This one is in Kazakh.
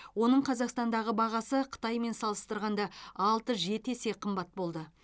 оның қазақстандағы бағасы қытаймен салыстырғанда алты жеті есе қымбат болды